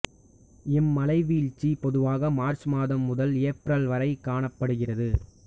இம்மழைவீழ்ச்சி பொதுவாக மார்ச் மாதம் முதல் ஏப்ரல் வரை காணப்படுகிறது